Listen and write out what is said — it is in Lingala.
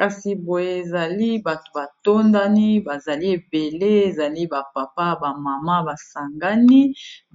kasi boye ezali bato batondani bazali ebele ezali bapapa bamama basangani